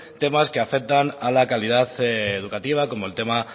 temas que afectan a la calidad educativa como el tema